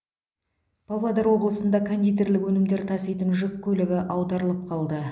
павлодар облысында кондитерлік өнімдер таситын жүк көлігі аударылып қалды